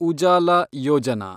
Ujala Yojana